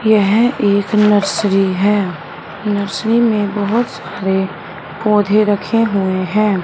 यह एक नर्सरी हैं नर्सरी में बहोत सारे पौधे रखे हुएं हैं।